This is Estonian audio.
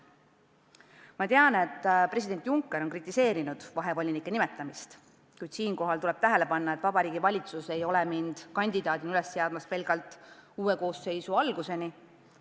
Ma tean, et president Juncker on kritiseerinud vahevolinike ametisse nimetamist, kuid siinkohal tuleb tähele panna, et Vabariigi Valitsus ei ole mind kandidaadina üles seadnud, pidades silmas pelgalt aega uue koosseisu töö alguseni.